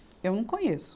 Eu não conheço.